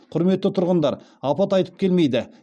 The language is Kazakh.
құрметті тұрғындар апат айтып келмейді